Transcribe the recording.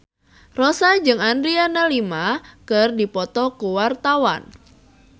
Rossa jeung Adriana Lima keur dipoto ku wartawan